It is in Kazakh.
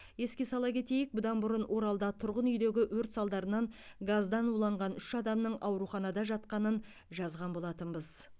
еске сала кетейік бұдан бұрын оралда тұрғын үйдегі өрт салдарынан газдан уланған үш адамның ауруханада жатқанын жазған болатынбыз